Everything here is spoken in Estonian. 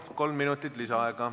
Kolm minutit lisaaega.